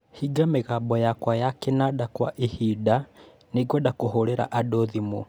Hinga mĩgambo yakwa ya kinanda kwa ihinda. Nĩngwenda kũhũrĩra andũ thimũ.